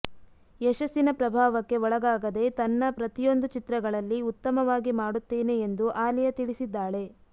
ಯಶಸ್ಸಿನ ಪ್ರಭಾವಕ್ಕೆ ಒಳಗಾಗದೇ ತನ್ನ ಪ್ರತಿಯೊಂದು ಚಿತ್ರಗಳಲ್ಲಿ ಉತ್ತಮವಾಗಿ ಮಾಡುತ್ತೇನೆ ಎಂದು ಆಲಿಯಾ ತಿಳಿಸಿದ್ದಾಳೆ